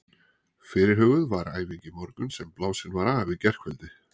Fyrirhuguð var æfing í morgun sem blásin var af í gærkvöldi.